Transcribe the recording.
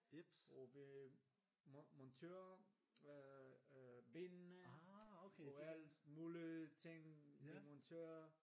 Og vi monterer øh benene og alt mulige ting vi monterer